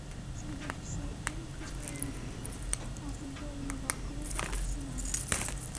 смотреть все игры футбольного клуба арсенал